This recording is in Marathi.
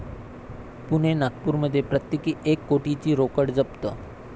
पुणे, नागपूरमध्ये प्रत्येकी एक कोटीची रोकड जप्त